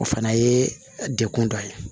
O fana ye dekun dɔ ye